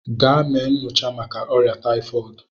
Gaa mee nnyocha màkà órià tayifọọdu!